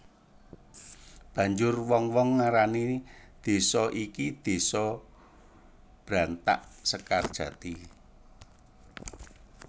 Banjur wong wong ngarani désa iki Désa Brantaksekarjati